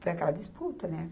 Foi aquela disputa, né?